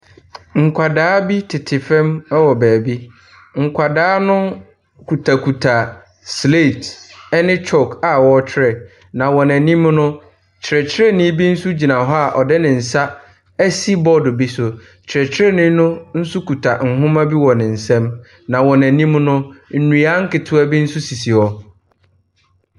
Nkwadaa bi tete fam wɔ baabi. Nkwadaa kutakuta sleet ne chalk a wɔretwerɛ. Na wɔn anim no, kyerɛkyerɛni bi gyina hɔ a ɔde ne nsa asi boardo bi so. Kyerɛkyerɛni no nso kita nwoma bi wɔ nsam. Na wɔn anim no, nnua nktewa bi nso sisi hɔ.